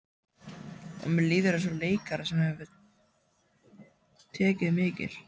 Og mér líður eins og leikara sem hefur tekið mikil